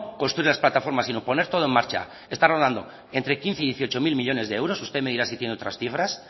construir las plataformas sino poner todo en marcha está rodando entre quince mil y dieciocho mil millónes de euros usted me dirá si tienen otras cifras